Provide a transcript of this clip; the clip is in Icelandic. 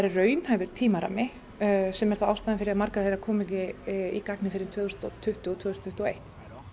raunhæfur tímarammi sem er ástæðan fyrir því að margar þeirra koma ekki í gagnið fyrr en tvö þúsund og tuttugu og tvö þúsund tuttugu og eitt